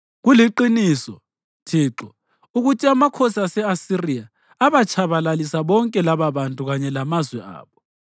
Kuliqiniso, Thixo, ukuthi amakhosi ase-Asiriya abatshabalalisa bonke lababantu kanye lamazwe abo.